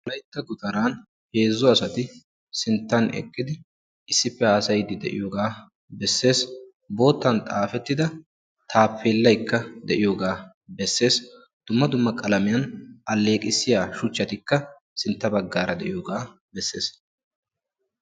Wolaytta gutaran heezzu asati sinttan eqqidi issippe haasayiddi de'iyoga bessees boottan xaafettida taappeellaykka de' iyoga bessees dumma dumma meran alleqissiya shuchchatikka sintta baggaara de'iyoga bessees.